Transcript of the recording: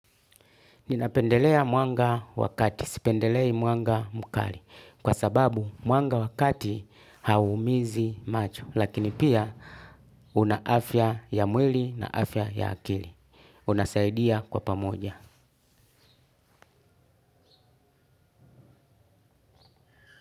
Ninapendelea mwanga wa kati. Sipendelei mwanga mkali. Kwa sababu mwanga wa kati haumiizi macho. Lakini pia una afya ya mwili na afya ya akili. Unasaidia kwa pamoja.